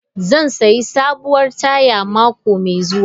Zan sayi sabuwar taya mako mai zuwa.